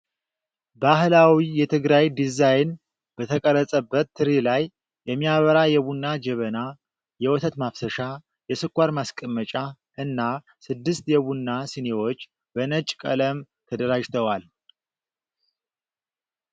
ባህላዊ የትግራይ ዲዛይን በተቀረጸበት ትሪ ላይ የሚያምር የቡና ጀበና፣ የወተት ማፍሰሻ፣ የስኳር ማስቀመጫ እና ስድስት የቡና ሲኒዎች በነጭ ቀለም ተደራጅተዋል።